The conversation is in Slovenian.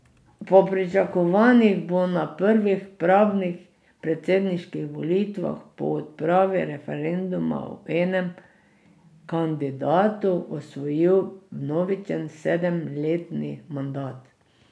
Po pričakovanjih bo na prvih pravih predsedniških volitvah po odpravi referenduma o enem kandidatu osvojil vnovičen sedemletni mandat.